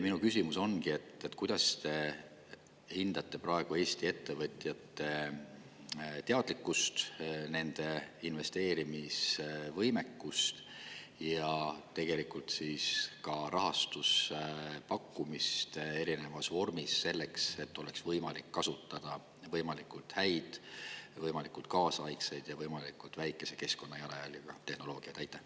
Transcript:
Minu küsimus ongi see: kuidas te hindate praegu Eesti ettevõtjate teadlikkust, nende investeerimisvõimekust ja tegelikult ka rahastuse pakkumist erinevas vormis, selleks et oleks võimalik kasutada võimalikult häid, võimalikult kaasaegseid ja võimalikult väikese keskkonnajalajäljega tehnoloogiaid?